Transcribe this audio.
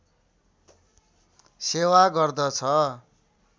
सेवा गर्दछ